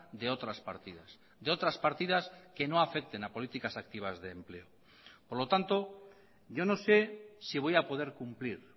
de otras partidas de otras partidas que no afecten a políticas activas de empleo por lo tanto yo no sé si voy a poder cumplir